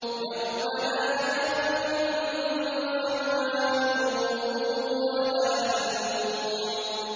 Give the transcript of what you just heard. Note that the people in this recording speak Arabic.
يَوْمَ لَا يَنفَعُ مَالٌ وَلَا بَنُونَ